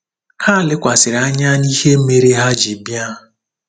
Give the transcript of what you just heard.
Ha lekwasịrị anya n’ihe mere ha ji bịa.